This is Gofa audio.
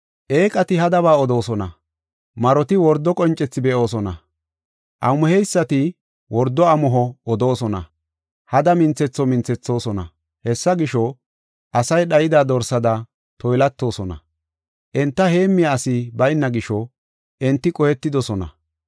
Eeqati hadaba odoosona; maroti wordo qoncethi be7oosona; amuheysati wordo amuho odoosona; hada minthetho minthethoosona. Hessa gisho, asay dhayida dorsada toylatoosona; enta heemmiya asi bayna gisho, enti qohetidosona.